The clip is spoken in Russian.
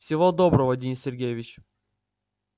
всего доброго денис сергеевич